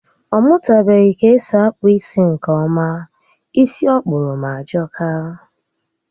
Ọ mụtabeghi k'esi akpụ isi nkè ọma. Isi ọ kpụrụ m ajọka